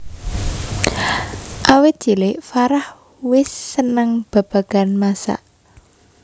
Awit cilik Farah wis seneng babagan masak